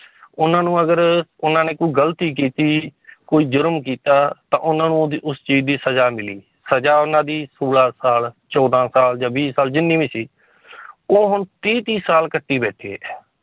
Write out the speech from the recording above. ਉਹਨਾਂ ਨੂੰ ਅਗਰ ਉਹਨਾਂ ਨੇ ਕੋਈ ਗ਼ਲਤੀ ਕੀਤੀ ਕੋਈ ਜ਼ੁਰਮ ਕੀਤਾ ਤਾਂ ਉਹਨਾਂ ਨੂੰ ਉਹਦੀ ਉਸ ਚੀਜ਼ ਦੀ ਸਜ਼ਾ ਮਿਲੀ, ਸਜ਼ਾ ਉਹਨਾਂ ਦੀ ਸੌਲਾਂ ਸਾਲ ਚੌਦਾਂ ਸਾਲ ਜਾਂ ਵੀਹ ਸਾਲ ਜਿੰਨੀ ਵੀ ਸੀ ਉਹ ਹੁਣ ਤੀਹ ਤੀਹ ਸਾਲ ਕੱਟੀ ਬੈਠੇ ਹੈ